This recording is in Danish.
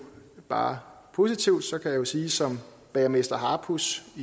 bare positivt så jeg kan jo sige som bagermester harepus